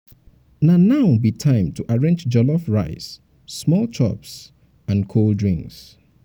na now be time to arrange jollof rice small chops and chops and cold drinks.